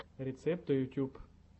рецепты ютьюб